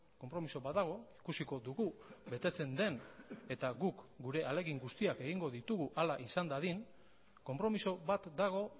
konpromiso bat dago ikusiko dugu betetzen den eta guk gure ahalegin guztiak egingo ditugu hala izan dadin konpromiso bat dago